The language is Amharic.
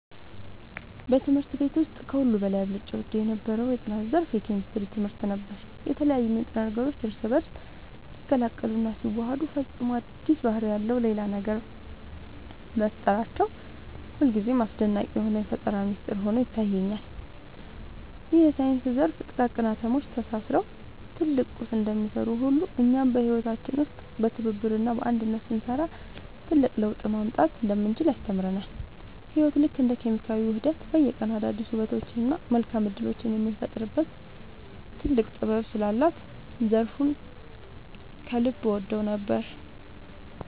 በትምህርት ቤት ውስጥ ከሁሉ በላይ አብልጬ እወደው የነበረው የጥናት ዘርፍ የኬሚስትሪ ትምህርት ነበር። የተለያዩ ንጥረ ነገሮች እርስ በእርስ ሲቀላቀሉና ሲዋሃዱ ፈጽሞ አዲስ ባህሪ ያለው ሌላ ነገር መፍጠራቸው ሁልጊዜም አስደናቂ የሆነ የፈጠራ ሚስጥር ሆኖ ይታየኛል። ይህ የሳይንስ ዘርፍ ጥቃቅን አቶሞች ተሳስረው ትልቅ ቁስ እንደሚሰሩ ሁሉ፣ እኛም በህይወታችን ውስጥ በትብብርና በአንድነት ስንሰራ ትልቅ ለውጥ ማምጣት እንደምንችል ያስተምረናል። ህይወት ልክ እንደ ኬሚካላዊ ውህደት በየቀኑ አዳዲስ ውበቶችንና መልካም እድሎችን የምትፈጥርበት ጥልቅ ጥበብ ስላላት ዘርፉን ከልብ እወደው ነበር።